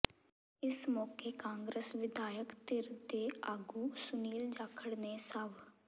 ਇਸ ਮੌਕੇ ਕਾਂਗਰਸ ਵਿਧਾਇਕ ਧਿਰ ਦੇ ਆਗੂ ਸੁਨੀਲ ਜਾਖੜ ਨੇ ਸਵ